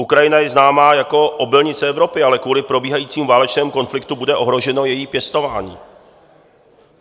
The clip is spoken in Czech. Ukrajina je známá jako obilnice Evropy, ale kvůli probíhajícímu válečnému konfliktu bude ohroženo její pěstování.